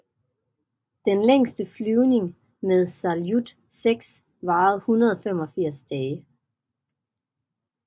Den længste flyvning med Saljut 6 varede 185 dage